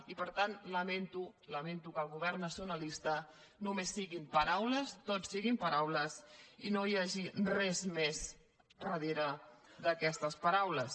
i per tant lamento lamento que el govern nacionalista només siguin paraules tot siguin paraules i no hi hagi res més darrere d’aquestes paraules